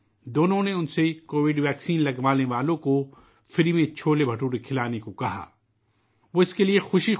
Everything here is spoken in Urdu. دونوں نے ان سے درخواست کی کہ وہ ان لوگوں کو مفت چھولے بھٹورے کھلائیں جنہوں کووِڈ ٹیکہ لگوایا ہے